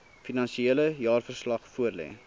finansiële jaarverslag voorlê